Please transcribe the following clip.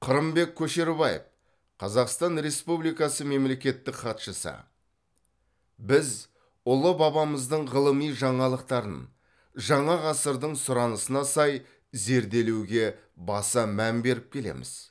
қырымбек көшербаев қазақстан республикасы мемлекеттік хатшысы біз ұлы бабамыздың ғылыми жаңалықтарын жаңа ғасырдың сұранысына сай зерделеуге баса мән беріп келеміз